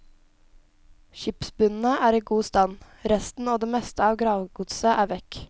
Skipsbunnene er i god stand, resten og det meste av gravgodset er vekk.